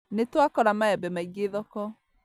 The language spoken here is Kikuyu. Nĩtwakora maembe maingĩ thoko